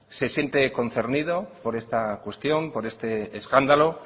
se siente concernido por esta cuestión por este escándalo